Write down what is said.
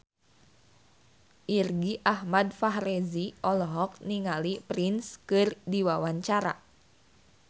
Irgi Ahmad Fahrezi olohok ningali Prince keur diwawancara